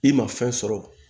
I ma fɛn sɔrɔ